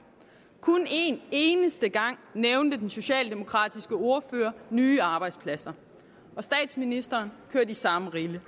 kun en eneste gang nævnte den socialdemokratiske ordfører nye arbejdspladser og statsministeren kørte i samme rille